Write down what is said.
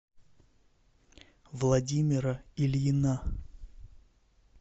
владимира ильина